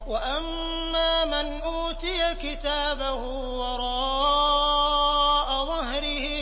وَأَمَّا مَنْ أُوتِيَ كِتَابَهُ وَرَاءَ ظَهْرِهِ